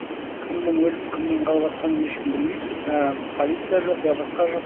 кімнің өліп кімнің қалыватқанын ешкім білмейді я полиция жоқ я басқа жоқ